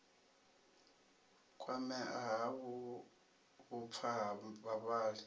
kwamea ha vhupfa ha vhavhali